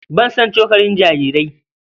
Ban san cokalin jarirai.